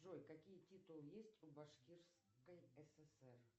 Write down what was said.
джой какие титулы есть у башкирской сср